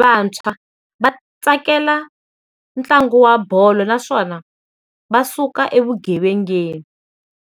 vantshwa, va tsakela ntlangu wa bolo naswona va suka evugevengeni.